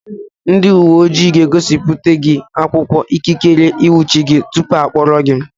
Ndị uwe ojii ga-egosipụta gị akwụkwọ ikikere ịnwụchi gị tupu ha akpọrọ gị.